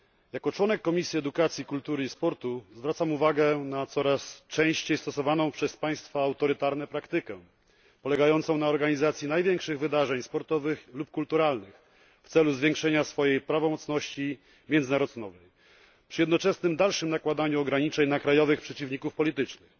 Jako członek Komisji Edukacji, Kultury i Sportu zwracam uwagę na coraz częściej stosowaną przez państwa autorytarne praktykę polegającą na organizacji największych wydarzeń sportowych lub kulturalnych w celu zwiększenia swojej prawomocności międzynarodowej przy jednoczesnym dalszym nakładaniu ograniczeń na krajowych przeciwników politycznych.